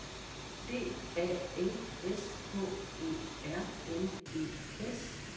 D A N S K E R N E S